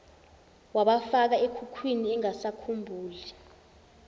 wabafaka ekhukhwini engasakhumbuli